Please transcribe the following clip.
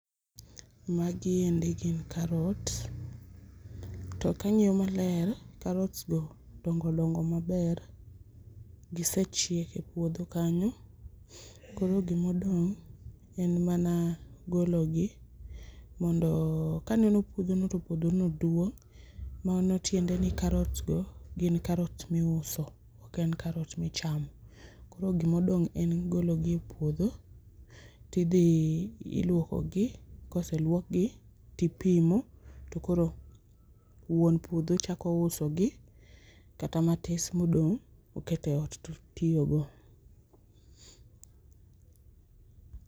Magi endi gin karot, to kang'iyo maler karot go dongo donge maber, gisechiek e puodho kanyo koro gima odong' en mana gologi mondo , kaneno puodho no to puodho no duong' manyisoni karot go gin karot ma iuso oken karot ma ichamo koro gima odong' en gologi e puodho tidhi iluokogi koseluokgi tipimo to koro wuon puodho chako usogi kata matis modong oket e ot to otiyogo